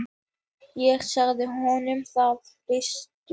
Ég sagði honum það fyrstum.